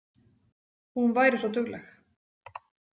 Hún væri svo dugleg.